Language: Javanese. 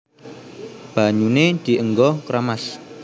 Banyuné dienggo keramas